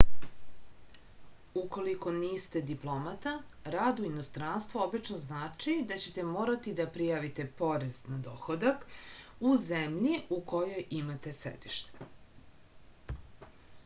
ukoliko niste diplomata rad u inostranstvu obično znači da ćete morati da prijavite porez na dohodak u zemlji u kojoj imate sedište